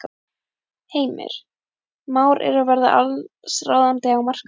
Heimir: Már er að verða allsráðandi á markaðnum?